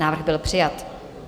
Návrh byl přijat.